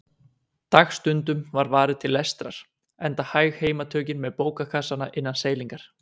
Dagstundum var varið til lestrar, enda hæg heimatökin með bókakassana innan seilingar.